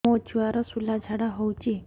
ମୋ ଛୁଆର ସୁଳା ଝାଡ଼ା ହଉଚି